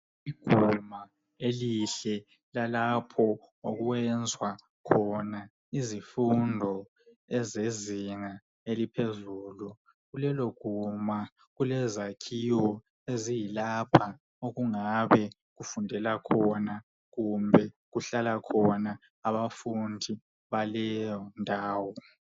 Iguma elihle lalapho okwenzwa khona izifundo ezezinga eliphezulu. Kulelo guma kulezakhiwo eziyilapha okungabe kufundela khona kumbe kuhlala khona abafundi baleyo ndawo.